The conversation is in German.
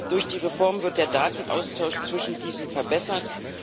Durch die Reform wird der Datenaustausch zwischen diesen verbessert.